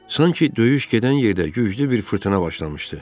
Sanki döyüş gedən yerdə güclü bir fırtına başlamışdı.